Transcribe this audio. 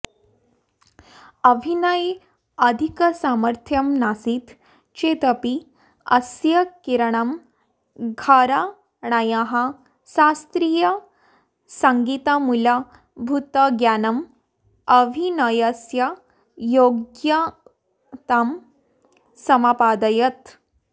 अभिनये अधिकसामर्थ्यं नासीत् चेदपि अस्य किराणा घराणायाः शास्त्रीयसङ्गीतमूलभूतज्ञानम् अभिनयस्य योग्यतां समपादयत्